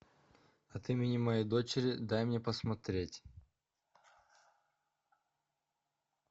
от имени моей дочери дай мне посмотреть